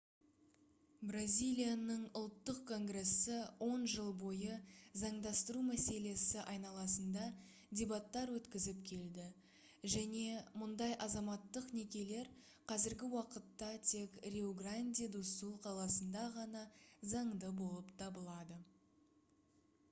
бразилияның ұлттық конгрессі 10 жыл бойы заңдастыру мәселесі айналасында дебаттар өткізіп келді және мұндай азаматтық некелер қазіргі уақытта тек риу-гранди-ду-сул қаласында ғана заңды болып табылады